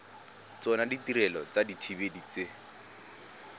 tsona ditirelo tsa dithibedi tse